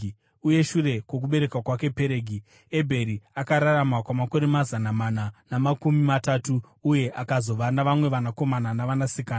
Uye shure kwokubereka kwake Peregi, Ebheri akararama kwamakore mazana mana namakumi matatu uye akazova navamwe vanakomana navanasikana.